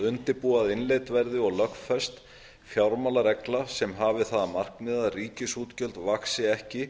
að innleidd verði og lögfest fjármálaregla sem hafi það að markmiði að ríkisútgjöld vaxi